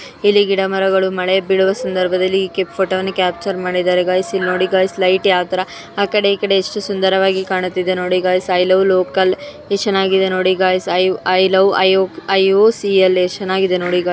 ಇಲ್ಲಿ ಗಿಡ ಮರಗಳು ಮಳೇ ಬೀಳುವ ಸಂದ್ರಬದಲ್ಲಿ ಫೋಟೊ ಅನು ಕ್ಯಾಪ್ಚರ್ ಮಾಡಿದರೆ ಗಯ್ಸ್ ಇಲ್ಲಿ ನೂಡಿ ಗಯ್ಸ್ ಲೈಟ್ ಯಾವ ತರಹ ಆಕಡೆ ಇಕಡೆ ಎಷ್ಟು ಸುಂದರವಾಗಿ ಕಾಣುತ್ತಿದೆ ನುಡಿ ಗಯ್ಸ್ ಐ ಲವ್ ಲೋಕಲ್ ಎಷ್ಟು ಚೆನ್ನಾಗಿ ನೋಡಿ ಗಯ್ಸ್ ಐ ಲವ್ ಎಲ್.ಓ.ಸಿ ಎಲ್ಲ ಎಷ್ಟು ಚೆನ್ನಗಿದೆ ನೋಡಿ ಗಯ್ಸ್ .